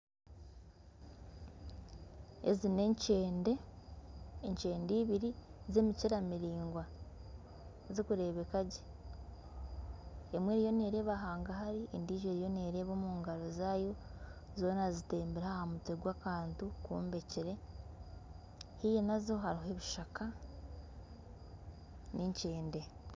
Ezi n'enkyende. Enkyende ibiri z'emikyira miringwa zirikurebeka gye. Emwe eriyo nereeba hanga hari endiijo eriyo neereeba omu ngaro zaayo. Zoona zitembire aha mutwe gwakantu kombekire. Haihi nazo hariho ebishaka, n'enkyende.